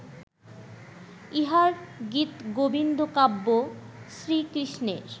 ইঁহার গীতগোবিন্দকাব্য শ্রীকৃষ্ণের